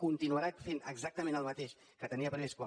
continuarà fent exactament el mateix que tenia previst quan